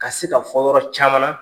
Ka se ka fɔ yɔrɔ caman na.